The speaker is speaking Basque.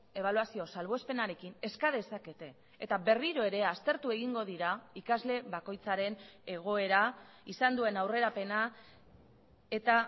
ebaluazio salbuespenarekin eska dezakete eta berriro ere aztertu egingo dira ikasle bakoitzaren egoera izan duen aurrerapena eta